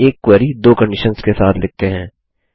चलिए एक क्वेरी दो कंडीशन्स के साथ लिखते हैं